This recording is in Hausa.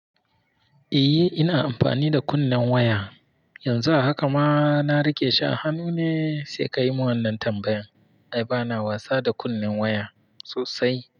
Eh ina amfani da kunnen waya, yanzu a haka ma na rike shi a hannu ne sai ka yi mun wannan tambayan. Ai bana wasa da kunnen waya sosai.